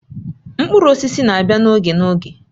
Mkpụrụ osisi na-abịa n'oge n'oge